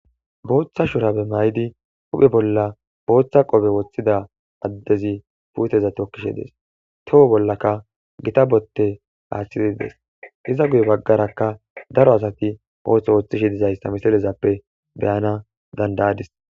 Botha shurabe mayidi huphe bola botha qoppe woththida adezi putteza tokidhshe dees toho bolakka gita bote aththid dees iza guye bagarakka daro asati oththo ooththishe dizayisa misilezappe beanas danidaadis